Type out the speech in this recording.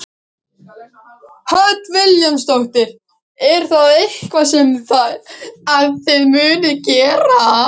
Hödd Vilhjálmsdóttir: Er það eitthvað sem að þið munuð gera?